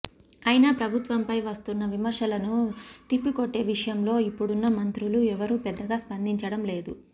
అయినా ప్రభుత్వంపై వస్తున్న విమర్శలను తిప్పికొట్టే విషయంలో ఇప్పుడున్న మంత్రులు ఎవరూ పెద్దగా స్పందించడంలేదు